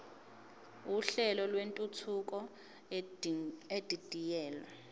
uhlelo lwentuthuko edidiyelwe